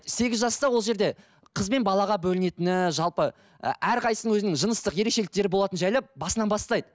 сегіз жаста ол жерде қыз бен балаға бөлінетіні жалпы ы әрқайсысының өзінің жыныстық ерекшеліктері болатынын жайлап басынан бастайды